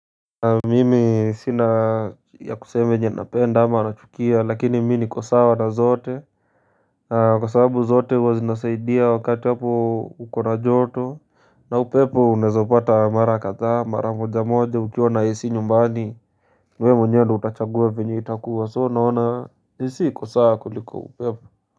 Mimi sina ya kuseme yenyenapenda ama nachukia lakini mini kwa sawa na zote na kwa sababu zote huwa zinasaidia wakati hapo ukona joto na upepo unezo pata mara kadha mara moja moja ukiwa na AC nyumbani wewe mwenyewe utachagua venye itakuwa so naona AC iko sawa kuliko upepo.